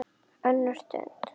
ÖNNUR STUND